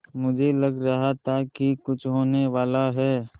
मुझे लग रहा था कि कुछ होनेवाला है